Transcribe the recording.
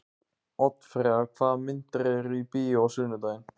Oddfreyja, hvaða myndir eru í bíó á sunnudaginn?